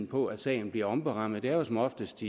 på at sagen bliver omberammet det er jo som oftest